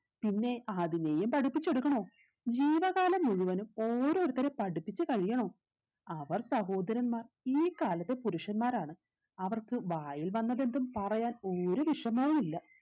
പിന്നെ അതിനെയും പഠിപ്പിച്ചെടുക്കണോ ജീവകാലം മുഴുവനും ഓരോരുത്തരെ പഠിപ്പിച്ച് കഴിയാണോ അവർ സഹോദരന്മാർ ഈ കാലത്തെ പുരുഷന്മാരാണ് അവർക്ക് വായിൽ വന്നതെന്തും പറയാൻ ഒരു വിഷമവുല്ല